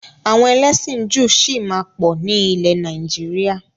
Àwọn ẹlẹ́sìn Júù sì máa pọ̀ ni ilẹ̀ Nàìjíríà.